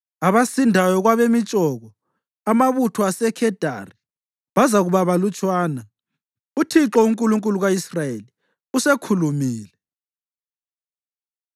Abasindayo kwabemitshoko, amabutho aseKhedari, bazakuba balutshwana.” UThixo, uNkulunkulu ka-Israyeli, usekhulumile.